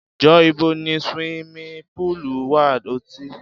Jọ, ìbò ni ṣiwími púlú wa? Ọtí